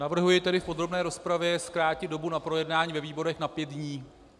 Navrhuji tedy v podrobné rozpravě zkrátit dobu na projednání ve výborech na pět dní.